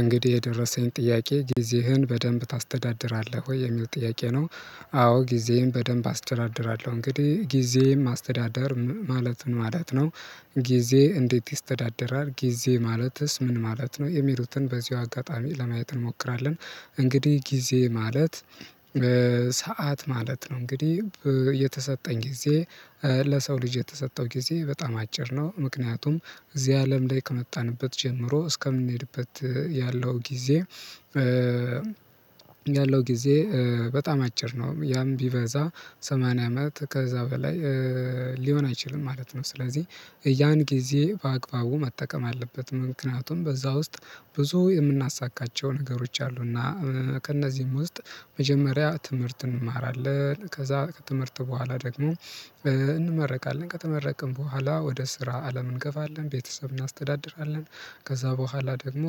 እንግዲህ የደረሰኝ ጥያቄ ጊዜህን በደንብ ታስተዳድራለህ ወይ የሚል ጥያቄ ነው አዎ ጊዜየን በደንብ አስተዳድራለሁ እንግዲህ ጊዜም አስተዳደር ማለት ምን ማለት ነው ጊዜ እንዴት ይስተዳደራል? ጊዜ ማለትስ ምን ማለት ነው? የሚሉትን በዚሁ አጋጣሚ ለማየት እንሞክራለን እንግዲህ ጊዜ ማለት ሰዓት ማለት ነው እንግዲህ የተሰጠኝ ጊዜ ለሰው ልጅ የተሰጠው ጊዜ በጣም አጭር ነው። ምክንያቱም እዚህ አለም ላይ ከመጣንበት ጀምሮ እስከምንሄድበት ያለው ጊዜ ያለው ጊዜ በጣም አጭር ነው ያም ቢበዛ ሰማንያ አመት ከዛ በላይ ሊሆን አይችልም ማለት ነው ስለዚህ ያን ጊዜ በአግባቡ መጠቀም አለበት ምክንያቱም በዛ ውስጥ ብዙ የምናሳካቸው ነገሮች አሉና። ከእነዚህም ውስጥ መጀመሪያ ትምህርት እንማራለን፤ ከዛ ከትምህርት በኋላ ደግሞ እንመረቃለን፤ ከተመረቅን በኋላ ወደ ስራ አለም እንገባለን፤ ቤተሰብ እናስተዳድራለን ከዛ በኋላ ደግሞ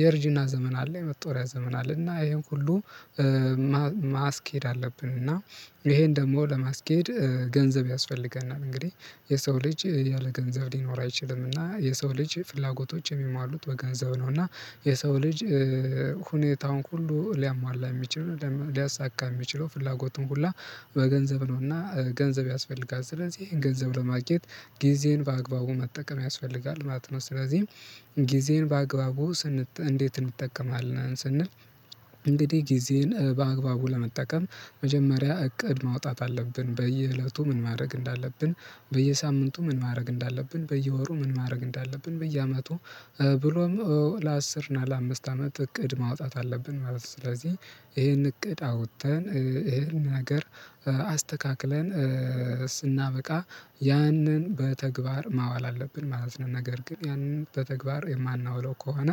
የእርጅና ዘመን አለ፤ የመጦሪያ ዘመን አለ እና ይሄን ሁሉ ማስኬድ አለብን እና ይሄን ደግሞ ለማስኬድ ገንዘብ ያስፈልገናል እንግዲህ የሰው ልጅ ያለ ገንዘብ ሊኖር አይችልምና የሰው ልጅ ፍላጎቶች የሚሟሉት በገንዘብ ነውና የሰው ልጅ ሁኔታውን ሁሉ ሊያሟላ የሚችል ሊያሳካ የሚችለው ፍላጎቱን ሁላ በገንዘብ ነውና ገንዘብ ያስፈልጋል ስለዚህ ገንዘብ ለማግኘት ጊዜን በአግባቡ መጠቀም ያስፈልጋል ማለት ነው ስለዚህ ጊዜን በአግባቡ ስንጠቀም እንዴት እንጠቀማለን ስንል እንግዲህ ጊዜን በአግባቡ ለመጠቀም መጀመሪያ እቅድ ማውጣት አለብን በየእለቱ ምን ማድረግ እንዳለብን በየሳምንቱ ምን ማድረግ እንዳለብን በየወሩ ምን ማድረግ እንዳለብን በየአመቱ ብሎም ለአስር እና ለአምስት አመት እቅድ ማውጣት አለብን ማለት ነው ስለዚህ ይሄን እቅድ አውጥተን ይሄን ነገር አስተካክለን ስናበቃ ያንን በተግባር ማዋል አለብን ማለት ነው ነገር ግን ያንን በተግባር የማናውለው ከሆነ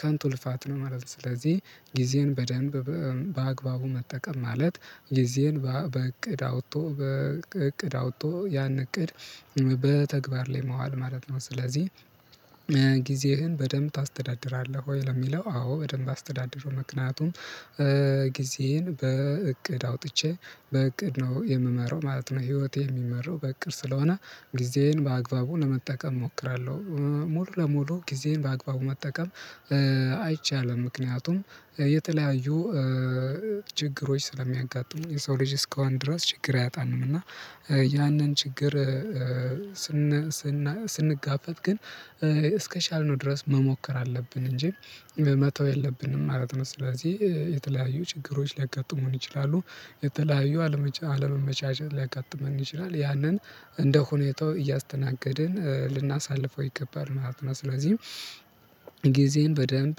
ከንቱ ልፋት ነው መሮጥ ስለዚህ ጊዜን በደንብ በአግባቡ መጠቀም ማለት ጊዜን በእቅድ አውጥቶ በእቅድ አውጥቶ ያን እቅድ በተግባር ላይ መዋል ማለት ነው ስለዚህ ያ ጊዜህን በደንብ ታስተዳድራለህ ወይ ለሚለው አዎ በደንብ አስተዳድራለሁ ምክንያቱም ጊዜዬን በእቅድ አውጥቼ በእቅድ ነው የምመረው ማለት ነው ህይወቴ የሚመራው በእቅር ስለሆነ ጊዜዬን በአግባቡ ለመጠቀም እሞክራለሁ ሙሉ ለሙሉ ጊዜዬን በአግባቡ መጠቀም አይቻልም ምክንያቱም የተለያዩ ችግሮች ስለሚያጋጥሙ የሰው ልጅ እስከዋን ድረስ ችግር አያጣንም እና ያንን ችግር ስንጋፈጥ ግን እስከቻልነው ድረስ መሞከር አለብን እንጂ መተው የለብንም ማለት ነው ስለዚህ የተለያዩ ችግሮች ሊያጋጥሙን ይችላሉ የተለያዩ አለመመቻቸት ሊያቀጥሙን ይችላል ያንን እንደ ሁኔታው እያስተናገድን ልናሳልፈው ይገባል ማለት ነው ስለዚህ ጊዜን በደንብ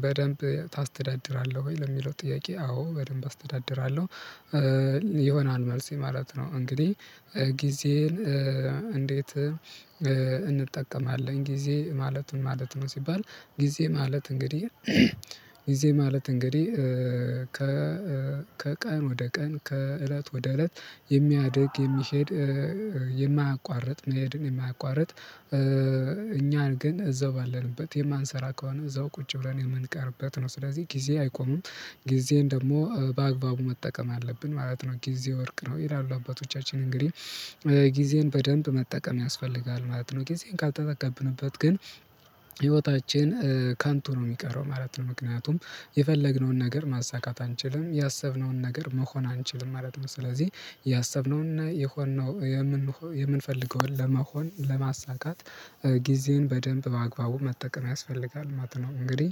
በደንብ ታስተዳድራለህ ወይ ለሚለው ጥያቄ አዎ በደንብ አስተዳድራለሁ የሆነን መልስ የማለት ነው እንግዲህ ጊዜን እንዴት እንጠቀማለን ጊዜ ማለትም ማለት ነው ሲባል ጊዜ ማለት እንግዲህ ጊዜ ማለት እንግዲህ ከቀን ወደ ቀን ከእለት ወደ እለት የሚያድግ የሚሄድ የማያቋርጥ መሄድን የማያቋርጥ እኛን ግን እዛው ባለንበት የማንሰራ ከሆነ እዛው ቁጭ ብለን የምንቀርበት ነው ስለዚህ ጊዜ አይቆምም ጊዜን ደግሞ በአግባቡ መጠቀም አለብን ማለት ነው ጊዜ ወርቅ ነው ይላሉ አባቶቻችን እንግዲህ ጊዜን በደንብ መጠቀም ያስፈልጋል ማለት ነው ጊዜን ካልተጠቀምነበት ግን ህይወታችን ካንቱ ነው የሚቀረው ማለት ነው ምክንያቱም የፈለግነውን ነገር ማሳካት አንችልም ያሰብነውን ነገር መሆን አንችልም ማለት ነው ስለዚህ ያሰብነውና የሆንነው የምንፈልገውን ለመሆን ለማሳካት ጊዜን በደንብ በአግባቡ መጠቀም ያስፈልጋል ማለት ነው እንግዲህ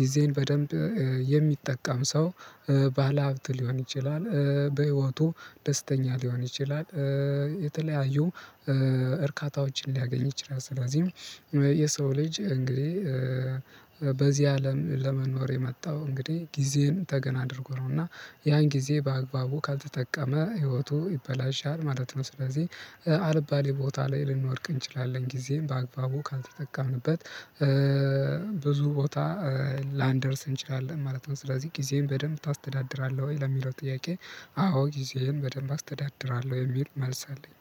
ጊዜን በደንብ የሚጠቀም ሰው ባለሀብት ሊሆን ይችላል በህይወቱ ደስተኛ ሊሆን ይችላል የተለያዩ እርካታዎችን ሊያገኝ ይችላል ስለዚህም የሰው ልጅ እንግዲህ በዚህ አለም ለመኖር የመጣው እንግዲህ ጊዜን ተገን አድርጎ ነው እና ያን ጊዜ በአግባቡ ካልተጠቀመ ህይወቱ ይበላሻል ማለት ነው ስለዚህ አልባሌ ቦታ ላይ ልንወርቅ እንችላለን ጊዜም በአግባቡ ካልተጠቃንበት ብዙ ቦታ ላንደርስ እንችላለን ማለት ነው ስለዚህ ጊዜም በደንብ ታስተዳድራለህ ወይ ለሚለው ጥያቄ አዎ ጊዜህን በደንብ አስተዳድራለሁ የሚል መልስ አለኝ